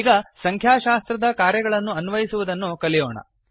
ಈಗ ಸಂಖ್ಯಾಶಾಸ್ತ್ರದ ಕಾರ್ಯಗಳನ್ನು ಅನ್ವಯಿಸುವುದನ್ನು ಕಲಿಯೋಣ